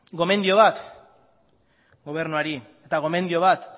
gomendio bat ggobernuari eta gomendio bat